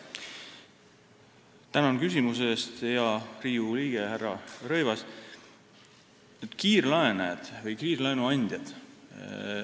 Tänan küsimuse eest, hea Riigikogu liige härra Rõivas!